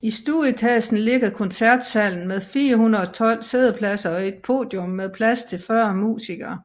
I stueetagen ligger koncertsalen med 412 siddepladser og et podium med plads til 40 musikere